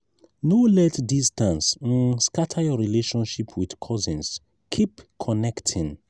no let distance um scatter your relationship with cousins; keep connecting.